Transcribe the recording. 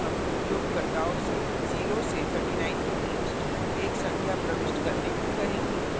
यहाँ हम उपयोगकर्ताओं से 0 से 39 के बीच की एक संख्या प्रविष्ट करने को कहेंगे